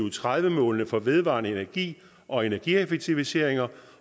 og tredive målene for vedvarende energi og energieffektiviseringer